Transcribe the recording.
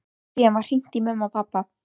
Síðan var hringt í pabba og mömmu.